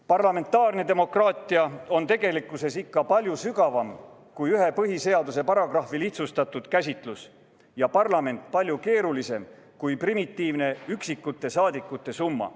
Parlamentaarne demokraatia on tegelikkuses ikka palju sügavam kui põhiseaduse ühe paragrahvi lihtsustatud käsitlus ja parlament palju keerulisem kui primitiivne üksikute saadikute summa.